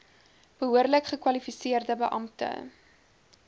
behoorlik gekwalifiseerde beampte